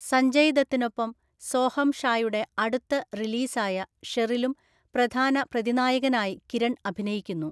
സഞ്ജയ് ദത്തിനൊപ്പം സോഹം ഷായുടെ അടുത്ത റിലീസായ ഷെറിലും പ്രധാന പ്രതിനായകനായി കിരൺ അഭിനയിക്കുന്നു.